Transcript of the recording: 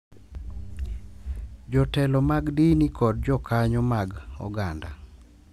Jotelo mag dini, kod jokanyo mag oganda.